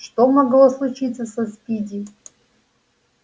что могло случиться со спиди